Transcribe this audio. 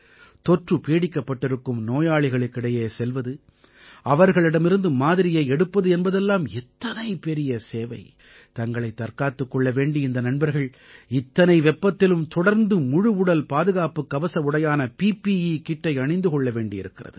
தொற்று பீடிக்கப்பட்டிருக்கும் நோயாளிகளுக்கிடையே செல்வது அவர்களிடமிருந்து மாதிரியை எடுப்பது என்பதெல்லாம் எத்தனை பெரிய சேவை தங்களைத் தற்காத்துக் கொள்ள வேண்டி இந்த நண்பர்கள் இத்தனை வெப்பத்திலும் தொடர்ந்து முழுவுடல் பாதுகாப்புக் கவச உடையான பிபிஇ KITஐ அணிந்து கொள்ள வேண்டியிருக்கிறது